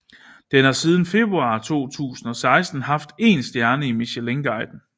Den har siden februar 2016 haft én stjerne i Michelinguiden